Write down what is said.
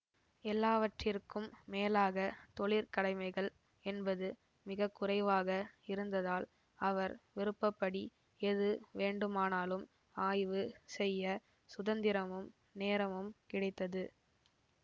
எல்லாவற்றிற்கும் மேலாக தொழிற்கடமைகள் என்பது மிக குறைவாக இருந்ததால் அவர் விருப்ப படி எது வேண்டுமானாலும் ஆய்வு செய்ய சுதந்திரமும் நேரமும் கிடைத்தது